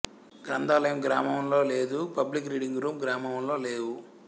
గ్రంథాలయం గ్రామంలో లేదు పబ్లిక్ రీడింగ్ రూం గ్రామంలో లేవు